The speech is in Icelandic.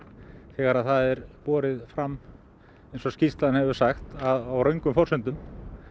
þegar það er borið fram eins og skýrslan hefur sagt á röngum forsendum